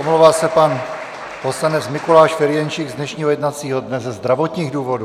Omlouvá se pan poslanec Mikuláš Ferjenčík z dnešního jednacího dne ze zdravotních důvodů.